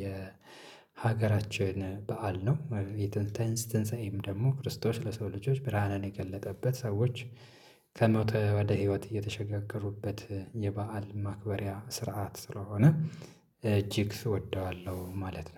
የሀገራችን በዓል ነው የተንስተንሰይም ደግሞ ክርስቶስ ለሰው ልጆች ብርሃንን የገለጠበት ሰዎች ከሞተ ወደ ህይወት እየተሸጋገሩበት የበአል ማክበሪያ ስርዓት ስለሆነ እጅግ እወደዋለሁ ማለት ነው።